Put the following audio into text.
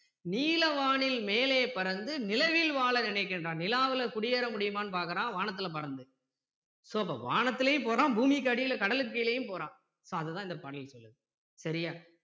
நீல வானில் மேலே பறந்து நிலவில் வாழ நினைக்கின்றான் நிலாவுல குடியேற முடியுமான்னு பார்க்கிறான் வானத்தில பறந்து so அப்போ வானத்திலேயும் போறான் பூமிக்கு அடியில கடலுக்கு கீழேயும் போறான் so அதை தான் இந்த பாடல் சொல்லுது சரியா